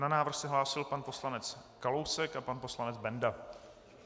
Na návrh se hlásil pan poslanec Kalousek a pan poslanec Benda.